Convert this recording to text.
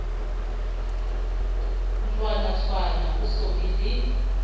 ntlwanatshwana ho so be le